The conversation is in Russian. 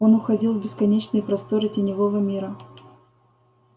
он уходил в бесконечные просторы теневого мира